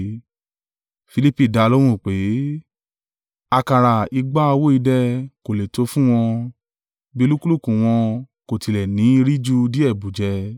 Filipi dá a lóhùn pé, “Àkàrà igba owó idẹ kò lè tó fún wọn, bí olúkúlùkù wọn kò tilẹ̀ ní í rí ju díẹ̀ bù jẹ.”